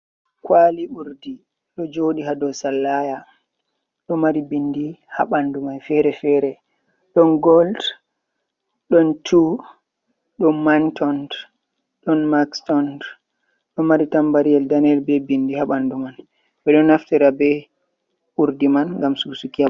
kwali urdi, ɗo joɗi ha do sallaya, ɗo mari bindi haɓandu mai fere fere, ɗon golt, ɗon tun, ɗon mantont, ɗon makstont. ɗo mari tanba riyel daneyel be bindi haɓandu man ɓeɗo naftira be urdi man ngam susuki.